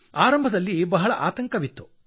ಆರಂಭದಲ್ಲಿ ಬಹಳ ಆತಂಕವಾಗಿತ್ತು